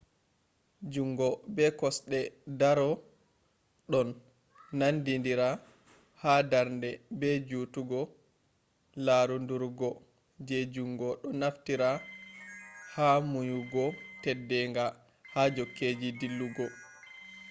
jungo be kosde doro ɗon nandidira ha darnde be jutugo larudurgo je jungo do naftira ha munyugo teddenga ha jokkeji dillugo